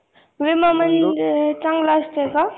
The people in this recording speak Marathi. विमा म्हणजे चांगलं असतंय का?